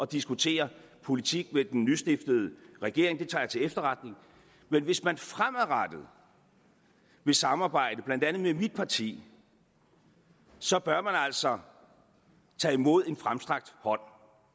diskutere politik med den nystiftede regering det tager jeg til efterretning men hvis man fremadrettet vil samarbejde med blandt andet mit parti så bør man altså tage imod en fremstrakt hånd